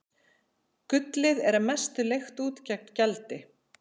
Gullið er að mestu leigt út gegn gjaldi.